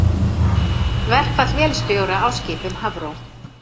Verkfall vélstjóra á skipum Hafró